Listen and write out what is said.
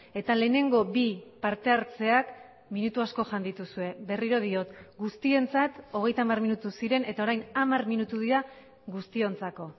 eta lehenengo bi parte hartzeak minutu asko jan dituzue berriro diot guztientzat hogeita hamar minutu ziren eta orain hamar minutu dira guztiontzako